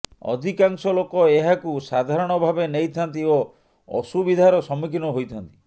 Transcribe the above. ଅଧିକାଂଶ ଲୋକ ଏହାକୁ ସାଧାରଣଭାବେ ନେଇଥାନ୍ତି ଓ ଅସୁୁବିଧାର ସମ୍ମୁଖୀନ ହୋଇଥାନ୍ତି